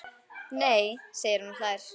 Nei segir hún og hlær.